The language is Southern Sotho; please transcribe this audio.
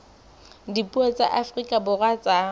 dipuo tsa afrika borwa tsa